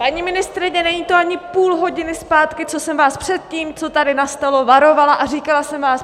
Paní ministryně, není to ani půl hodiny zpátky, co jsem vás před tím, co tady nastalo, varovala a říkala jsem vám: